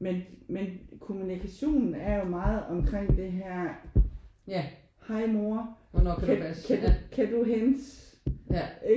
Men men kommunikationen er jo meget omkring det her: Hej mor kan du hente